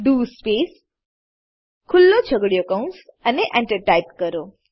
do space ખુલ્લો છગડીયો કૌંસ એન્ટર ટાઈપ કરો